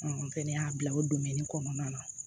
n fɛnɛ y'a bila o kɔnɔna na